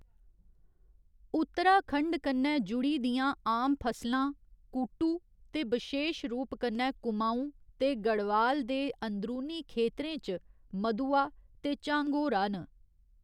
उत्तराखंड कन्नै जुड़ी दियां आम फसलां कूटू ते बशेश रूप कन्नै कुमाऊं ते गढ़वाल दे अंदरूनी खेतरें च, मदुवा ते झांगोरा न।